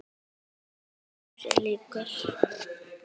Alltaf sjálfum sér líkur.